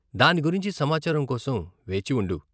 దాని గురించి సమాచారం కోసం వేచి ఉండు.